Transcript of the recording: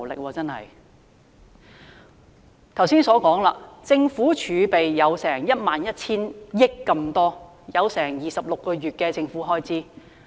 我剛才提及政府的儲備多達 11,000 億元，相等於26個月的政府開支。